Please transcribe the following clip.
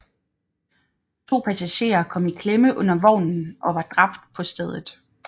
To passagerer kom i klemme under vognen og var dræbt på stedet